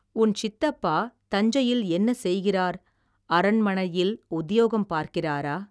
உன் சித்தப்பா தஞ்சையில் என்ன செய்கிறார் அரண்மனையில் உத்தியோகம் பார்க்கிறாரா.